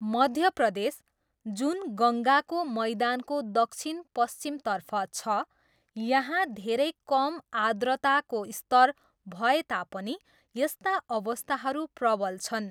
मध्य प्रदेश, जुन गङ्गाको मैदानको दक्षिण पश्चिमतर्फ छ, यहाँ धेरै कम आर्द्रताको स्तर भए तापनि यस्ता अवस्थाहरू प्रबल छन्।